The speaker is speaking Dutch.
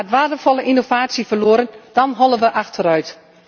En gaat waardevolle innovatie verloren, dan hollen we achteruit.